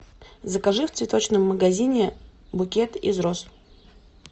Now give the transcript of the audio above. закажи в цветочном магазине букет из роз